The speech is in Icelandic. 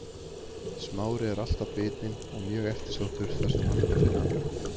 smári er alltaf bitinn og mjög eftirsóttur þar sem hann er að finna